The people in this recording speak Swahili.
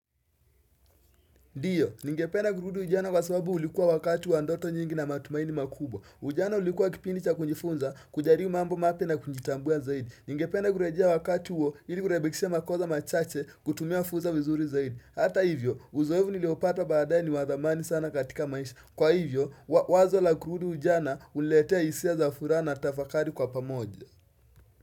Ndiyo, ningependa kurudi ujana kwa sababu ulikuwa wakati wa ndoto nyingi na matumaini makubwa. Ujana ulikuwa kipindi cha kujifunza, kujaribu mambo mapya na kujitambua zaidi. Ningependa kurejea wakati huo, ili kurebekishia makoza machache, kutumia furza vizuri zaidi. Hata hivyo, uzoevu niliopata baadae ni wa dhamani sana katika maisha. Kwa hivyo, wazo la kurudi ujana, uniletea hisia za furaha na tafakari kwa pamoja.